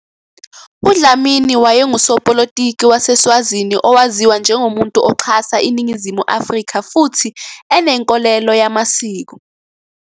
UDlamini wayengusopolitiki waseSwazini owaziwa njengomuntu oxhasa iNingizimu Afrika futhi enenkolelo yamasiko.